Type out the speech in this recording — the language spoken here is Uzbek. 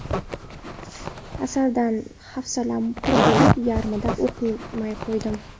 Asardan hafsalam pir bo‘lib, yarmida o‘qimay qo‘ydim.